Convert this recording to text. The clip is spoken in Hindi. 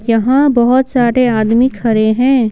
यहां बहुत सारे आदमी खड़े हैं।